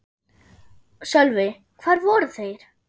Sölvi: Hvar voru þeir?